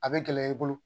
A bɛ gɛlɛya i bolo